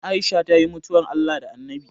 Aisha ta yi mutuwar Allah da Anabi